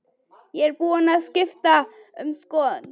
Ég er búin að skipta um skoðun.